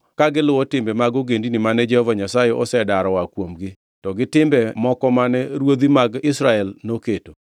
ka giluwo timbe mag ogendini mane Jehova Nyasaye osedaro oa kuomgi, to gi timbe moko mane ruodhi mag Israel noketo.